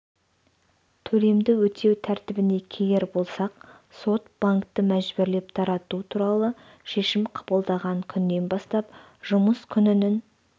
төлемді өтеу тәртібіне келер болсақ сот банкті мәжбүрлеп тарату туралы шешім қабылдаған күннен бастап жұмыс күнінің